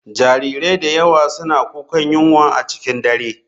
Jarirai da yawa suna kukan yunwa a cikin dare.